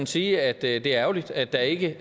sige at det er ærgerligt at der ikke